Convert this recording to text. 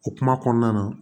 O kuma kɔnɔna na